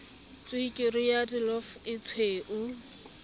tswekere ya illovo e tshweu